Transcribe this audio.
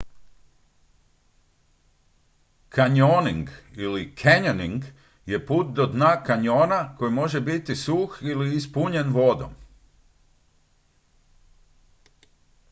kanjoning ili canyoning je put do dna kanjona koji može biti suh ili ispunjen vodom